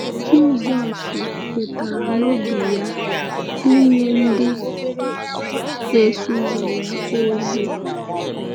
Jisọs kwetara n’obi ya inye ndị na-eso ya ozi.